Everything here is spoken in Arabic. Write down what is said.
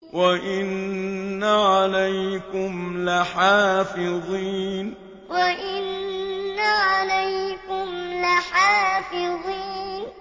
وَإِنَّ عَلَيْكُمْ لَحَافِظِينَ وَإِنَّ عَلَيْكُمْ لَحَافِظِينَ